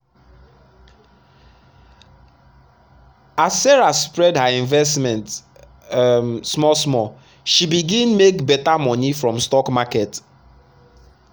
as sarah spread her investment um small small she begin make better money from stock market.